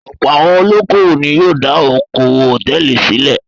Ọ̀pọ̀ àwọn olókòwò ni yóò dá okòwò hòtẹ́ẹ́lì sílẹ̀.